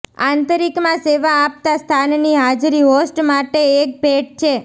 આંતરિકમાં સેવા આપતા સ્થાનની હાજરી હોસ્ટ માટે એક ભેટ છે